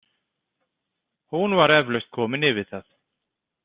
Hún var eflaust komin yfir það.